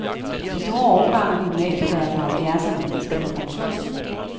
De store årgange af gymnasielærere fra halvfjerdserne skal på pension.